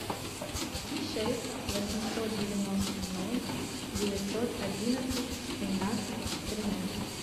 шесть восемьсот девяносто ноль девятьсот одинадцать семнадцать тринадцать